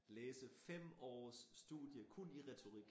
Læse 5 års studie kun i retorik